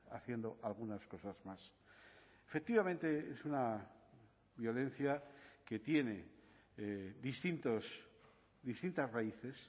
haciendo algunas cosas más efectivamente es una violencia que tiene distintos distintas raíces